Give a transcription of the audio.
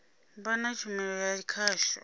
vha na tshumelo ya khasho